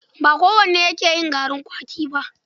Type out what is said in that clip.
Ba kowane yake garin kwaki ba.